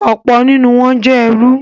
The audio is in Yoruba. Ọ̀pọ̀ nínú wọ́n jẹ́ ẹrú.